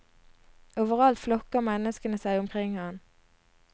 Overalt flokker menneskene seg omkring ham.